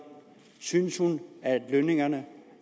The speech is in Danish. synes hun at lønningerne